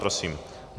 Prosím.